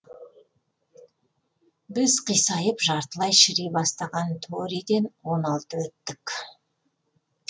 біз қисайып жартылай шіри бастаған торииден он алты өттік